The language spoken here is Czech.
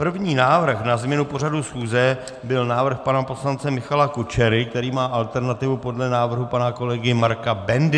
První návrh na změnu pořadu schůze byl návrh pana poslance Michala Kučery, který má alternativu podle návrhu pana kolegy Marka Bendy.